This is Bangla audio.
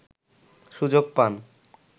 সুযোগ পান